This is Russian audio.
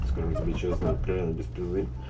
скажу тебе честно и откровенно без пизды